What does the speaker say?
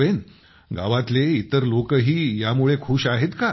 आणि गावातले इतर लोकही यामुळे खुश आहेत का